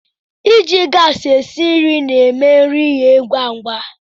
I ji gaasị e si nri na-eme nri eghee ngwá ngwá.